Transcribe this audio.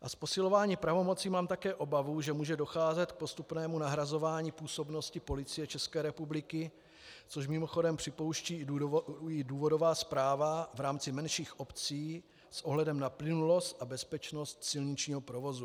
A z posilování pravomocí mám také obavu, že může docházet k postupnému nahrazování působnosti Policie České republiky, což mimochodem připouští i důvodová zpráva v rámci menších obcí s ohledem na plynulost a bezpečnost silničního provozu.